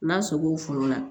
N'a sogo foro la